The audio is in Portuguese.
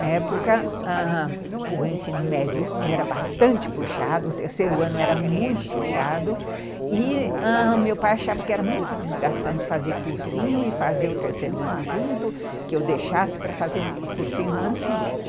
Na época, ãh, o ensino médio era bastante puxado, o terceiro ano era muito puxado, e, ãh, meu pai achava que era muito desgastante fazer cursinho e fazer o terceiro ano junto, que eu deixasse para fazer o cursinho no ano seguinte.